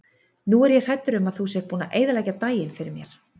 Nú er ég hræddur um að þú sért búinn að eyðileggja daginn fyrir mér.